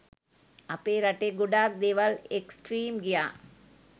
අපේ රටේ ගොඩාක් දේවල් එක්ස්ට්‍රීම් ගියා